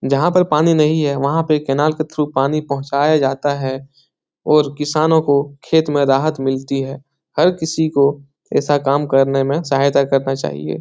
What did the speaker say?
जहाँ पे पानी नहीं है वहां पे कैनाल के थ्रू पानी पहुंचाया जाता है और किसानो को खेत में राहत मिलती है हर किसी को ऐसा काम करने में सहायता करना चाहिए।